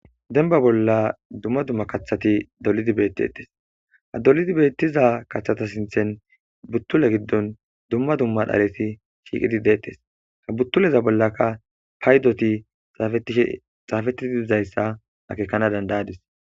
Denba bolla dumma dumma kathati dolidi beettiettes ha dolidi beettiza kathata sinthen buttule giddon dumma dumma dharesi shiiqidi deettes ka buttuleza bollaka paydoti xaafeti dizayssa akekana dandayadis.